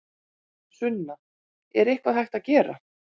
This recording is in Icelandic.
Sunna: Er eitthvað hægt að gera?